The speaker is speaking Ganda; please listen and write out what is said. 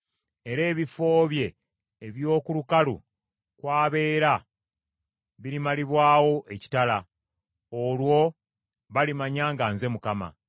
era ebifo bye eby’oku lukalu kw’abeera birimalibwawo ekitala. Olwo balimanya nga nze Mukama .